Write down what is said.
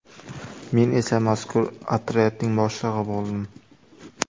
Men esa mazkur otryadning boshlig‘i bo‘ldim.